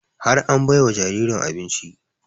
Har an bai wa jaririn abinci